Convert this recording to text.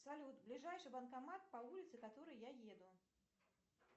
салют ближайший банкомат по улице которой я еду